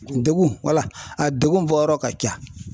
Degun wala a degun bɔyɔrɔ ka ca.